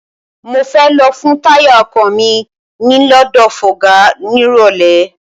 Mo fẹ́ lọ fun táyà ọkọ̀ mi lọ́dọ̀ fọga nírọ̀lẹ́.